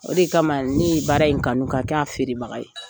O de kama ni ye baara in kanu ka kɛ a feerebaga ye.